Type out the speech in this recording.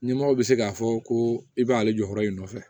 Nimoro bɛ se k'a fɔ ko i b'ale jɔyɔrɔ in nɔfɛ